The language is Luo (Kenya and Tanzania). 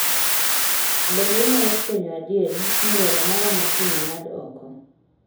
Bende inyalo fwenyo adieri ni romo mara makiny ong'ad oko